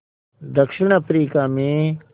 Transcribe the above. दक्षिण अफ्रीका में